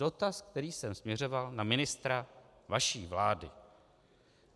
Dotaz, který jsem směřoval na ministra vaší vlády.